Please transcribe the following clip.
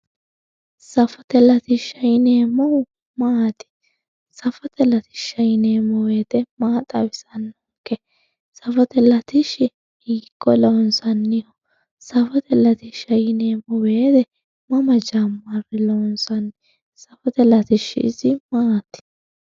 Saffote latisha yineemohu maati saffote latisha yineemo woyite maa xawisano saffote latish hiiko lonsani saffote latisha yineemo woyite mama jamare loonsayi safote latishi isi maati